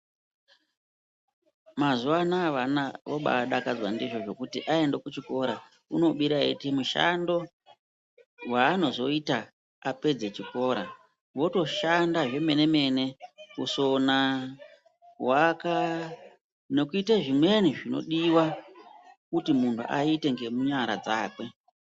Mazuwa anaya vana obadakadzwa ndizvo zvekuti aenda kuchikora unobira eiita mushando waanozoita apedza chikora . Wotoshanda zvemene-mene , kusona, kuaka, nekuita zvimweni zvinodiwa kuti muntu aite ngemunyara dzake.